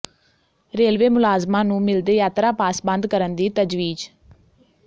railway ਮੁਲਾਜ਼ਮਾਂ ਨੂੰ ਮਿਲਦੇ ਯਾਤਰਾ ਪਾਸ ਬੰਦ ਕਰਨ ਦੀ ਤਜਵੀਜ਼